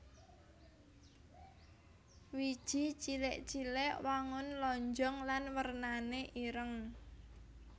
Wiji cilik cilik wangun lonjong lan wernané ireng